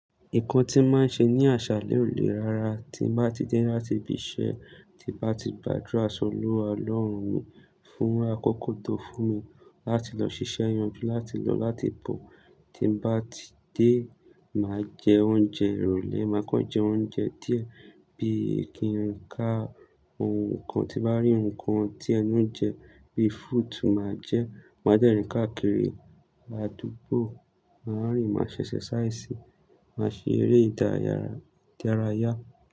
Nǹkan tí màá ṣe ní àṣàlẹ̀ olè ra ra, ti bà ti dé láti ibi iṣẹ́ tí bà ti gbàdúrà sọlúwa olọ́run mí fún ákòkò tó fún mi láti lọ ṣiṣẹ́ yanjú láti lọ láti bọ̀ tí màá ti dé, màá jẹ oúnjẹ ìrólé, màá kán jẹ oúnjẹ díẹ̀ bí ki n kà ohun kan ti bá rí ohun kan tí ẹnu ń jẹ bí fruit màá jẹ, màá dẹ rìn káàkiri àdúgbò, màá rìn, màá ṣẹ exercise, màá ṣe eré ìdárayá.